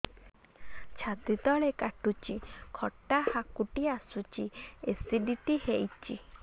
ଛାତି ତଳେ କାଟୁଚି ଖଟା ହାକୁଟି ଆସୁଚି ଏସିଡିଟି ହେଇଚି